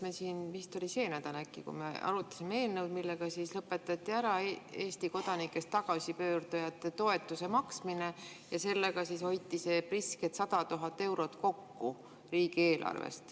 Me siin vist see nädal arutasime eelnõu, millega lõpetati ära Eesti kodanikest tagasipöördujate toetuse maksmine, ja sellega hoiti prisked 100 000 eurot kokku riigieelarves.